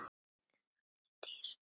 En það er dýrt.